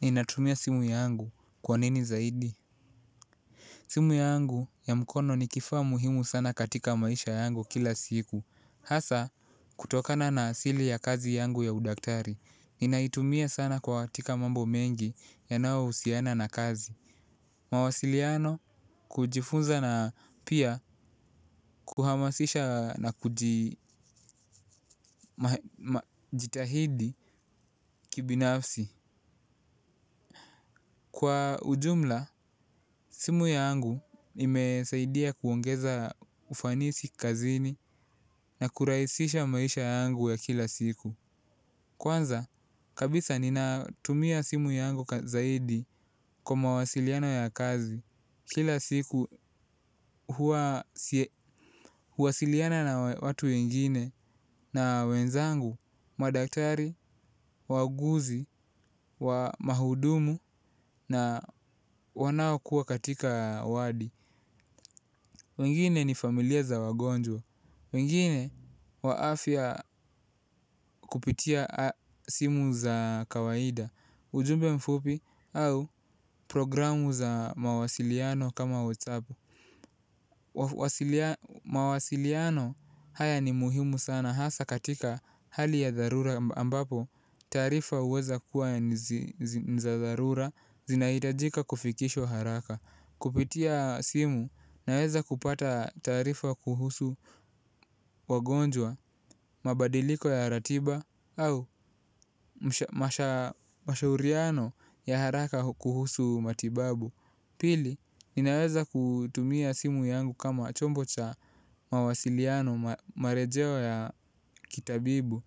Ninatumia simu yangu kwa nini zaidi? Simu yangu ya mkono ni kifaa muhimu sana katika maisha yangu kila siku. Hasa, kutokana na asili ya kazi yangu ya udaktari, ninaitumia sana kwa katika mambo mengi yanao husiana na kazi. Mawasiliano, kujifunza na pia kuhamasisha na kujitahidi kibinafsi. Kwa ujumla, simu yangu imesaidia kuongeza ufanisi kazini na kurahisisha maisha yangu ya kila siku. Kwanza kabisa ninatumia simu yangu zaidi kwa mawasiliano ya kazi kila siku huwasiliana na watu wengine na wenzangu, madaktari, wauguzi wa mahudumu na wanaokua katika wadi. Wengine ni familia za wagonjwa, wengine wa afya kupitia simu za kawaida ujumbe mfupi au programu za mawasiliano kama whatsapp. Mawasiliano haya ni muhimu sana hasa katika hali ya dharura taarifa huweza kuwa niza dharura zinahitajika kufikishwa haraka, kupitia simu naweza kupata taarifa kuhusu wagonjwa, mabadiliko ya ratiba au mashauriano ya haraka kuhusu matibabu pili, ninaweza kutumia simu yangu kama chombo cha mawasiliano marejeo ya kitabibu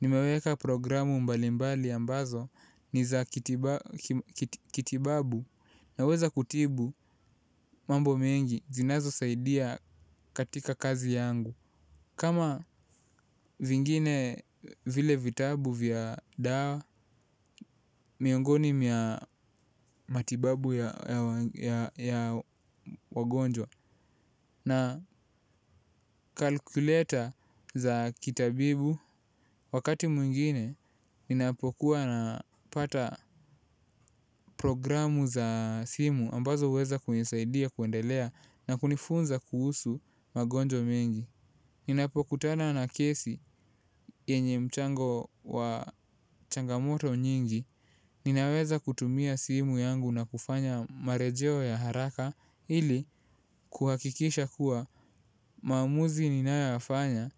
nimeweka programu mbalimbali ambazo ni za kitibabu na weza kutibu mambo mengi zinazo saidia katika kazi yangu kama vingine vile vitabu vya dawa miongoni mwa matibabu ya wagonjwa na kalkleta za kitabibu wakati mwingine ninapokuwa na pata programu za simu ambazo huweza kunisaidia kuendelea na kunifunza kuhusu magonjwa mengi. Ninapokutana na kesi yenye mchango wa changamoto nyingi ninaweza kutumia simu yangu na kufanya marejeo ya haraka ili kuhakikisha kuwa maamuzi ninayoyafanya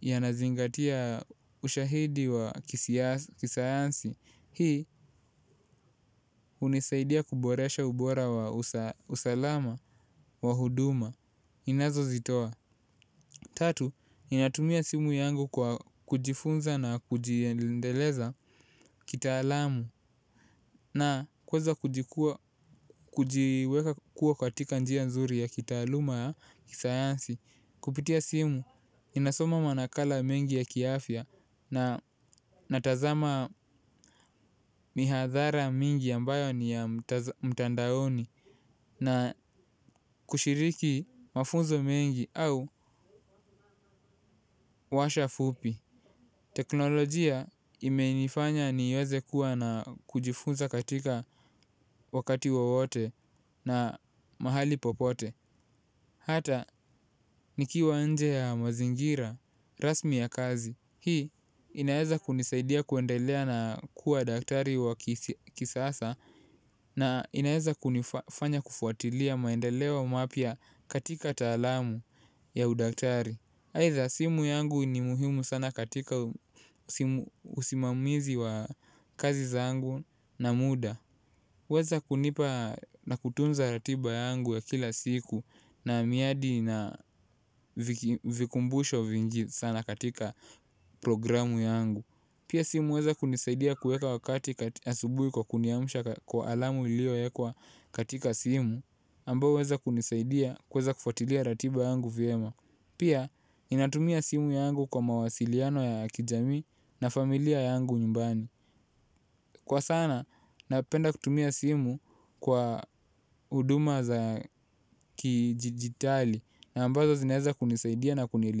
yanazingatia ushahidi wa kisayansi. Hii unisaidia kuboresha ubora wa usalama wa huduma. Inazo zitoa tatu, ninatumia simu yangu kwa kujifunza na kujiendeleza kitaalamu na kueza kujiweka kuwa katika njia nzuri ya kitaaluma ya kisayansi. Kupitia simu ninasoma manakala mengi ya kiafya na natazama mihadhara mingi ambayo ni ya mtandaoni na kushiriki mafunzo mengi au washa fupi teknolojia imenifanya niweze kuwa na kujifunza katika wakati wowote na mahali popote hata nikiwa nje ya mazingira rasmi ya kazi. Hii inaeza kunisaidia kuendelea na kuwa daktari wa kisasa na inaeza kunifanya kufuatilia maendeleo mapya katika taalamu ya udaktari. Aidha, simu yangu ni muhimu sana katika usimamizi wa kazi zangu na muda. Huweza kunipa na kutunza ratiba yangu ya kila siku na miadi na vikumbusho vingi sana katika programu yangu. Pia simu huweza kunisaidia kueka wakati asubuhi kwa kuniamsha kwa alamu ilio ekwa katika simu, ambayo huweza kunisaidia kueza kufatilia ratiba yangu vyema. Pia, ninatumia simu yangu kwa mawasiliano ya kijamii na familia yangu nyumbani. Kwa sana, napenda kutumia simu kwa huduma za kidijitali na ambazo zinaeza kunisaidia na kunielimi.